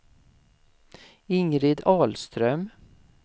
Ingrid Ahlström